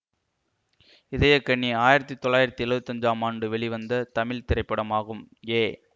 இதயக்கனி ஆயிரத்தி தொள்ளாயிரத்தி எழுவத்தி அஞ்சாம் ஆண்டு வெளிவந்த தமிழ் திரைப்படமாகும் ஏ